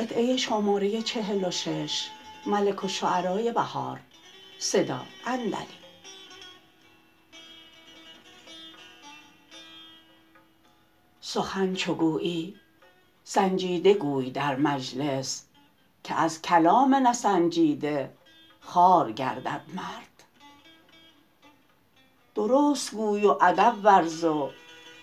سخن چو گویی سنجیده گوی در مجلس که از کلام نسنجیده خوار گردد مرد درست گوی و ادب ورز و